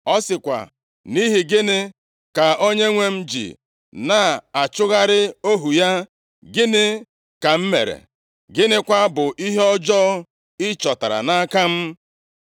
Ọ sịkwa, “Nʼihi gịnị ka onyenwe m ji na-achụgharị ohu ya? Gịnị ka m mere? Gịnịkwa bụ ihe ọjọọ ị chọtara nʼaka m?